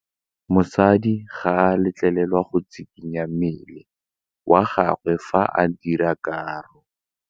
Modise ga a letlelelwa go tshikinya mmele wa gagwe fa ba dira karô.